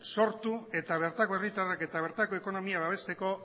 sortu eta bertako herritarrak eta bertako ekonomia babesteko